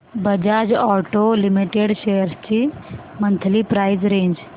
Bajaj auto limited shares ची monthly price range